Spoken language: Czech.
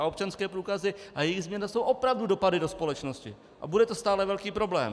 A občanské průkazy a jejich změna jsou opravdu dopady do společnosti a bude to stále velký problém.